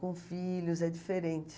com filhos, é diferente.